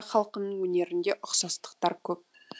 халқының өнерінде ұқсастықтар көп